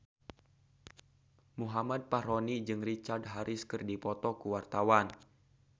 Muhammad Fachroni jeung Richard Harris keur dipoto ku wartawan